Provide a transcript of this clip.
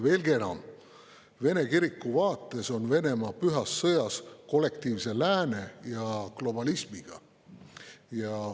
Veelgi enam, Vene kiriku vaates on Venemaa pühas sõjas kollektiivse lääne ja globalismiga.